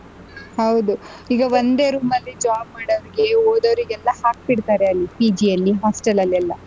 ಹೌದು ಈಗ ಒಂದೇ room ಅಲ್ಲಿ job ಮಾಡೋರಿಗೆ ಓದೋರಿಗೆಲ್ಲ ಹಾಕ್ಬಿಡ್ತಾರೆ ಅಲ್ಲಿ PG ಅಲ್ಲಿ hostel ಅಲ್ಲೆಲ್ಲ